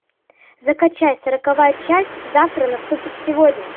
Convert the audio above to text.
закачай сороковая часть завтра наступит сегодня